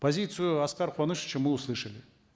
позицию аскара куанышевича мы услышали